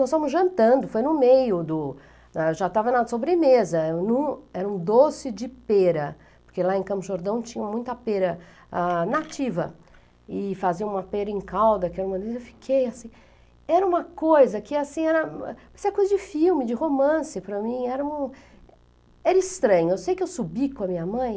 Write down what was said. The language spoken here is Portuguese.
Nós estávamos jantando, foi no meio, do, da, já estava na sobremesa, era um doce de pera, porque lá em Campos do Jordão tinha muita pêra, ah, nativa, e faziam uma pêra em calda, que eu fiquei assim, era uma coisa que assim, era coisa de filme, de romance para mim, era uma, era estranho, eu sei que eu subi com a minha mãe,